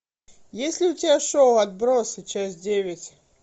есть ли у тебя шоу отбросы часть девять